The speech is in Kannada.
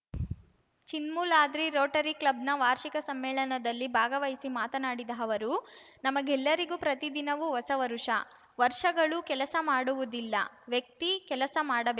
ಚಿನ್ಮೂಲಾದ್ರಿ ರೋಟರಿ ಕ್ಲಬ್‌ನ ವಾರ್ಷಿಕ ಸಮ್ಮೇಳನದಲ್ಲಿ ಭಾಗವಹಿಸಿ ಮಾತನಾಡಿದ ಅವರು ನಮಗೆಲ್ಲರಿಗೂ ಪ್ರತಿದಿನವೂ ಹೊಸ ವರುಷ ವರ್ಷಗಳು ಕೆಲಸ ಮಾಡುವುದಿಲ್ಲ ವ್ಯಕ್ತಿ ಕೆಲಸ ಮಾಡಬೇ